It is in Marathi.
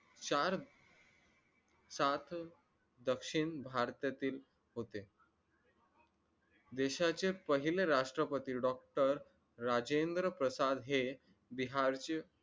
चार साथ दक्षिण भारतातील होते देशाचे पहिले राष्ट्रपती doctor राजेंद्र प्रसाद हे बिहार